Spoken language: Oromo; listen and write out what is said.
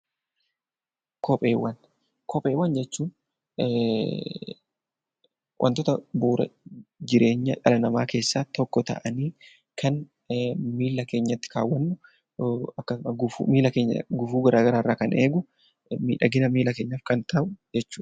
Kopheewwan jechuun wantoota bu'uuraa jireenya dhala namaa keessaa tokko ta'anii kan miila keenyatti kaawwannu miila keenya gufuu garaagaraa irraa kan eegu miidhagina miila keenyaaf kan ta'u jechuudha.